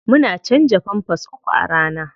Muna canza pampers uku a rana.